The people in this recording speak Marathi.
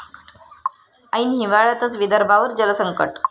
ऐन हिवाळ्यातच विदर्भावर जलसंकट!